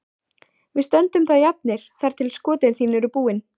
Við stöndum þá jafnir þar til skotin þín eru búin.